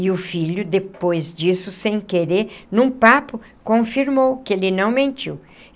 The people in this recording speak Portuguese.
E o filho, depois disso, sem querer, num papo, confirmou que ele não mentiu.